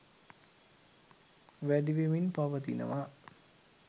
වැඩි වෙමින් පවතිනවා.